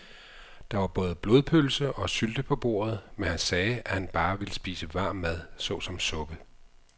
Der var både blodpølse og sylte på bordet, men han sagde, at han bare ville spise varm mad såsom suppe.